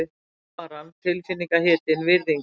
Alvaran tilfinningahitinn, virðingin.